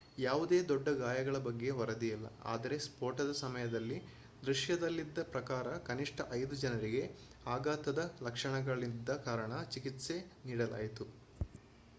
ಯಾವುದೇ ದೊಡ್ಡ ಗಾಯಗಳ ಬಗ್ಗೆ ವರದಿಯಾಗಿಲ್ಲ ಆದರೆ ಸ್ಫೋಟದ ಸಮಯದಲ್ಲಿ ದೃಶ್ಯದಲ್ಲಿದ್ದ ಪ್ರಕಾರ ಕನಿಷ್ಠ ಐದು ಜನರಿಗೆ ಆಘಾತದ ಲಕ್ಷಣಗಳಿದ್ದ ಕಾರಣ ಚಿಕಿತ್ಸೆ ನೀಡಲಾಯಿತು